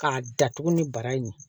K'a datugu ni bara in ye